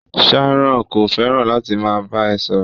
Sharon ko fẹràn láti máa bá ẹ sọ̀rọ̀.